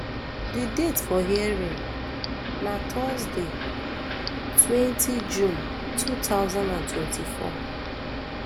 di date for hearing na thursday twenty june two thousand and twenty-four um